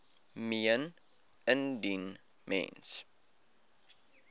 meen indien mens